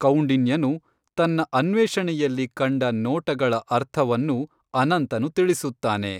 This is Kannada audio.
ಕೌಂಡಿನ್ಯನು ತನ್ನ ಅನ್ವೇಷಣೆಯಲ್ಲಿ ಕಂಡ ನೋಟಗಳ ಅರ್ಥವನ್ನು ಅನಂತನು ತಿಳಿಸುತ್ತಾನೆ.